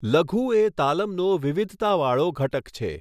લઘુ એ તાલમનો વિવિધતાવાળો ઘટક છે.